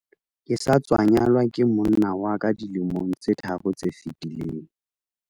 ke sa tswa nyalwa ke monna wa ka dilemong tse tharo tse fetileng